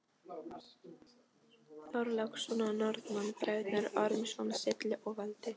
Þorláksson og Norðmann, Bræðurnir Ormsson, Silli og Valdi.